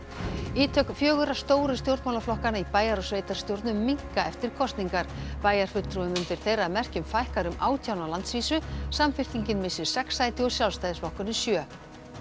ítök fjögurra stóru stjórnmálaflokkanna í bæjar og sveitarstjórnum minnka eftir kosningar bæjarfulltrúum undir þeirra merkjum fækkar um átján á landsvísu samfylkingin missir sex sæti og Sjálfstæðisflokkurinn sjö